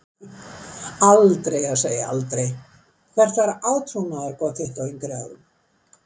Aldrei að segja aldrei Hvert var átrúnaðargoð þitt á yngri árum?